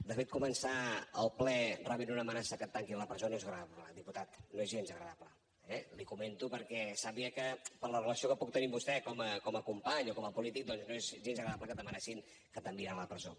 de fet començar el ple rebent una amenaça que et tanquin a la presó no és agradable diputat no és gens agradable eh l’hi comento perquè sàpiga que per la relació que puc tenir amb vostè com a company o com a polític doncs no és gens agradable que t’amenacin que t’enviaran a la presó